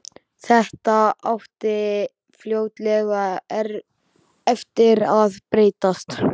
Þetta átti fljótlega eftir að breytast.